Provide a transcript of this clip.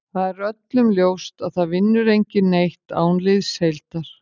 Það er öllum ljóst að það vinnur enginn neitt án liðsheildar.